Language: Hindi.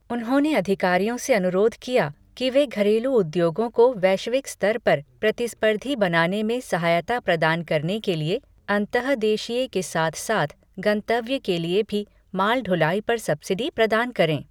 उन्होंने अधिकारियों से अनुरोध किया कि वे घरेलू उद्योगों को वैश्विक स्तर पर प्रतिस्पर्धी बनाने में सहायता प्रदान करने के लिए अंतःदेशीय के साथ साथ गंतव्य के लिए भी माल ढुलाई पर सब्सिडी प्रदान करें।